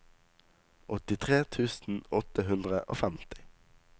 åttitre tusen åtte hundre og femti